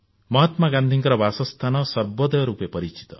ମହାତ୍ମାଗାନ୍ଧୀଙ୍କ ବାସସ୍ଥାନ ସର୍ବୋଦୟ ରୂପେ ପରିଚିତ